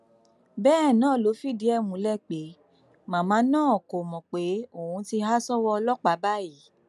bẹẹ ló fìdí ẹ múlẹ pé màmá náà kò mọ pé òun ti há sọwọ ọlọpàá báyìí